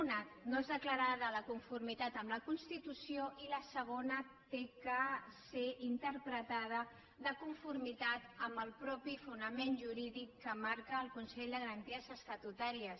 una no és declarada de conformitat amb la constitució i la segona ha de ser interpretada de conformitat amb el fonament jurídic que marca el consell de garanties estatutàries